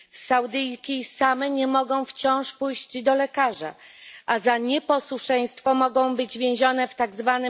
Saudyjki same nie mogą wciąż pójść do lekarza, a za nieposłuszeństwo mogą być więzione w tzw.